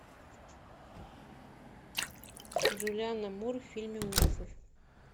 джулианна мур в фильме ужасов